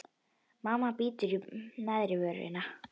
Mamma bítur í neðri vörina.